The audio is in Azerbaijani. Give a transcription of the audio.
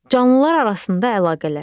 Canlılar arasında əlaqələr.